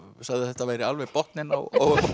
sagði að þetta væri alveg botninn á